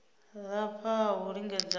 lafha ha u lingedza a